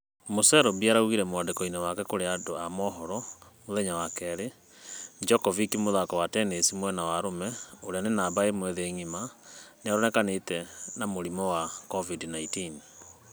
Mũserbia raugiee mwandĩko-inĩ wake kũrĩ andũ a mũhoro mũthenya wa kerĩ, Djokovic mũthaki wa tennis mwena wa arũme ũrĩa nĩ namba ĩmwe thĩ ngima , nĩũnĩkanĩte na mũrimũ wa covid-19.